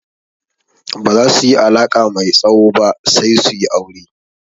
Baza su yi alaƙa mai tsawo ba sai su yi aure.